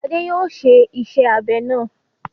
Adé yóò ṣe iṣẹ́-abẹ náà.